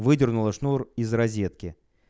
выдернула шнур из розетки